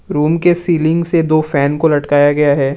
Room के ceiling से दो फैन को लटकाया गया है।